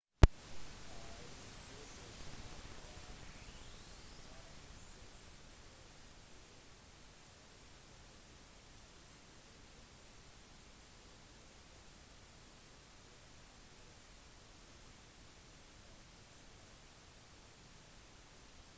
i 2008 styrtet piquet jr i singapore grand prix rett etter en tidlig stopp for fernando alonso for å hente ut sikkerhetsbilen